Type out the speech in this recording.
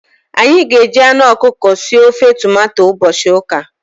Anyị ga-eji anụ ọkụkọ sie ofe tomato ụbọchị ụka.